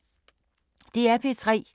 DR P3